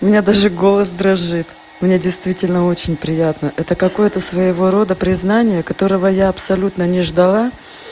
у меня даже голос дрожит у меня действительно очень приятно это какое-то своего рода признание которого я абсолютно не ждала